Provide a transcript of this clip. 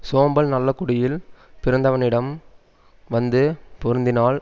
சோம்பல் நல்ல குடியில் பிறந்தவனிடம் வந்து பொருந்தினால்